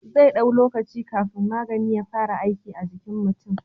Zai dau lokaci kafin magani ya fara aiki a jikin mutin